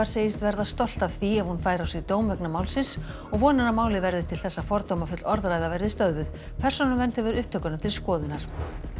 segist verða stolt af því ef hún fær á sig dóm vegna málsins og vonar að málið verði til þess að fordómafull orðræða verði stöðvuð persónuvernd hefur upptökuna til skoðunar